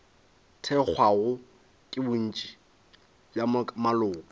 thekgwago ke bontši bja maloko